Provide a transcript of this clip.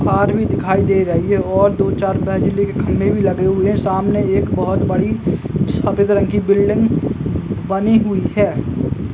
आदमी दिखाई दे रही है और दो बेजली के खंभे भी लगे हुए हैं। सामने एक बहोत बड़ी सफेद रंग की बिल्डिंग बनी हुई है।